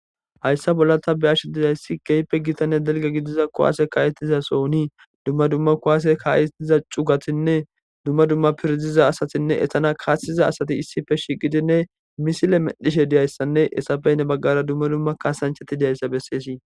Hayisa bolla ta be ash diyayssi keyppe gitanne delge gidiza kuwaase kaayetiza sohuni dumma dumma kowase kaayetiza cugatinne dumma dumma pirdiza asatinne etana kaasesiza asati issife shiqidinne misile medhishe diyayssanne esafey ne baggara dumma dumma kaasanchati diyayssa besseesi